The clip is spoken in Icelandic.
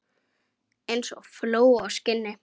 Eins og fló á skinni.